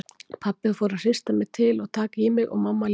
Pabbi fór að hrista mig til og taka í mig og mamma líka.